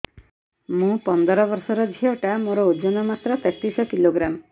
ମୁ ପନ୍ଦର ବର୍ଷ ର ଝିଅ ଟା ମୋର ଓଜନ ମାତ୍ର ତେତିଶ କିଲୋଗ୍ରାମ